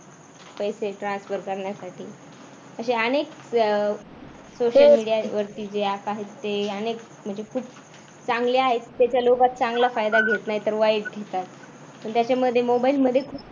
पैसे transfer करण्यासाठी असे अनेक अह social media वरती जे आता आहेत ते अनेक म्हणजे खूप चांगले आहेत त्याचा चांगल्या लोकात चांगला फायदा घेत नाहीत तर वाईट घेतात आणि त्याच्यामध्ये mobile मध्ये